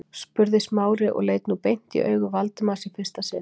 spurði Smári og leit nú beint í augu Valdimars í fyrsta sinn.